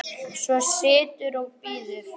Svo situr og bíður.